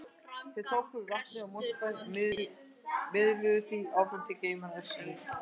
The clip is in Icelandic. Þeir tóku við vatni úr Mosfellssveit og miðluðu því áfram til geymanna á Öskjuhlíð.